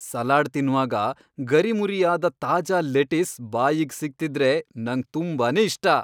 Salad ತಿನ್ವಾಗ ಗರಿಮುರಿಯಾದ ತಾಜಾ ಲೆಟಿಸ್ ಬಾಯಿಗ್ ಸಿಗ್ತಿದ್ರೆ ನಂಗ್ ತುಂಬಾನೇ ಇಷ್ಟ.